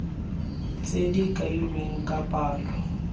tse di kailweng ka palo